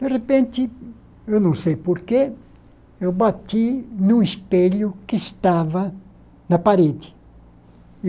De repente, eu não sei por quê, eu bati num espelho que estava na parede.